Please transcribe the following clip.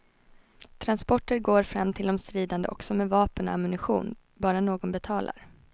Transporter går fram till de stridande också med vapen och ammunition, bara någon betalar.